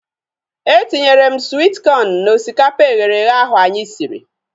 Etinyere m swit kọn na osikapa eghere eghe ahu anyị siri